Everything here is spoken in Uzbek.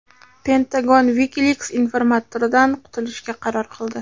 Pentagon Wikileaks informatoridan qutulishga qaror qildi.